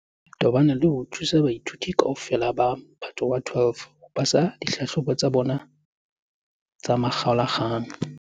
le tobane le ho thusa baithuti kaofela ba Mophato wa 12 ho pasa dihlahlobo tsa bona tsa makgaola-kgang.